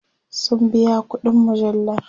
sun biya ƙuɗin mujallar